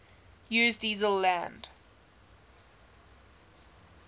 use diesel land